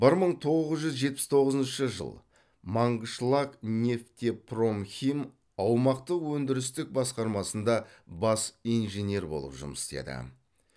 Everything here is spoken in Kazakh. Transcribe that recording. бір мың тоғыз жүз жетпіс тоғызыншы жыл мангышлакнефтепромхим аумақтық өндірістік басқармасында бас инженер болып жұмыс істеді